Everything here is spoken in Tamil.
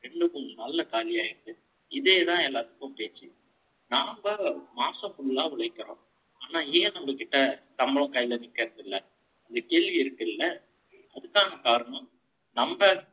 ரெண்டு, மூணு நாள்ல, காலி ஆயிடுது. இதேதான், எல்லாத்துக்கும், பேச்சு. நாம்மா மாசம் full ஆ உழைக்கிறோம். ஆனா, ஏன் நம்ம கிட்ட, சம்பளம் கையிலே நிக்கிறது இல்லை? இந்த கேள்வி இருக்குல்ல? அதுக்கான காரணம், நம்ம